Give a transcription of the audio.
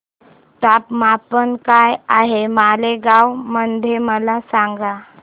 तापमान काय आहे मालेगाव मध्ये मला सांगा